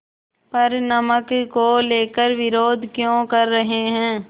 पर नमक को लेकर विरोध क्यों कर रहे हैं